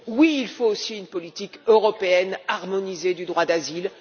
Oui, il faut aussi une politique européenne harmonisée du droit d'asile.